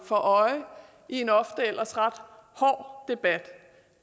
for øje i en ofte ellers ret hård debat